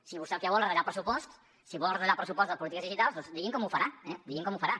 si vostè el que vol és retallar pressupost si vol retallar el pressupost de polítiques digitals doncs digui’m com ho farà digui’m com ho farà